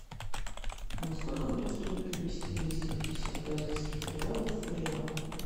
сколько будет стоить перевести двести пятьдесят бразильских реалов в реал